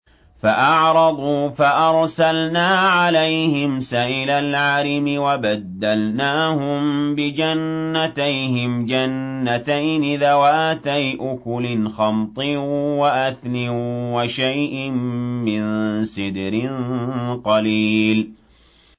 فَأَعْرَضُوا فَأَرْسَلْنَا عَلَيْهِمْ سَيْلَ الْعَرِمِ وَبَدَّلْنَاهُم بِجَنَّتَيْهِمْ جَنَّتَيْنِ ذَوَاتَيْ أُكُلٍ خَمْطٍ وَأَثْلٍ وَشَيْءٍ مِّن سِدْرٍ قَلِيلٍ